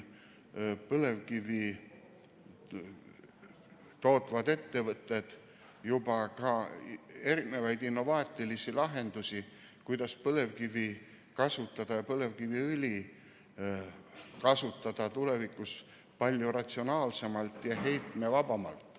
Põlevkivi tootvad ettevõtted pakuvad juba ka innovaatilisi lahendusi, kuidas põlevkivi ja põlevkiviõli tulevikus kasutada palju ratsionaalsemalt ja heitmevabamalt.